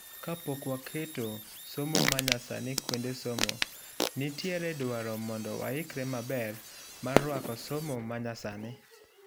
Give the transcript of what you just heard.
kapok waketo somo manyasani kuonde somo, nitie dwaro mondo waikre maber mar ruako somo manyasani